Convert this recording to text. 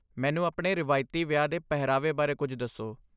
ਮੈਨੂੰ ਆਪਣੇ ਰਵਾਇਤੀ ਵਿਆਹ ਦੇ ਪਹਿਰਾਵੇ ਬਾਰੇ ਕੁਝ ਦੱਸੋ।